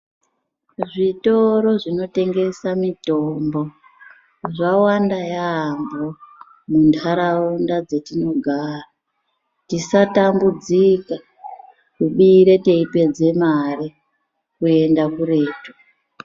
Zvitoro zvinotengese mitombo zvawanda yaamho munharaunda dzatinogara. Tisatambudzika kubira teipedze mare kuende kuretu.